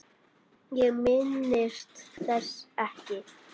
Ég minnist þess ekki.